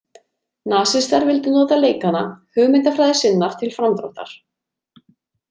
Nasistar vildu nota leikana hugmyndafræði sinnar til framdráttar.